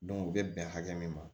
u bɛ bɛn hakɛ min ma